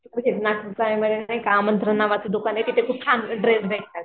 नागपूर चाळेमध्ये नाही का आमंत्रण नावाचं दुकान आहे तिथे खूप छान ड्रेस भेटतात.